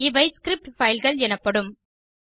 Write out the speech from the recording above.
இவை ஸ்கிரிப்ட் fileகள் எனப்படும்